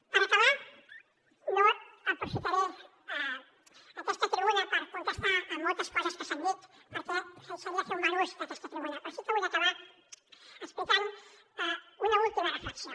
per acabar no aprofitaré aquesta tribuna per contestar a moltes coses que s’han dit perquè seria fer un mal ús d’aquesta tribuna però sí que vull acabar explicant una última reflexió